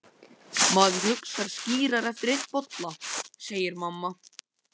Hann lyfti glasi til að sitja ekki auðum höndum.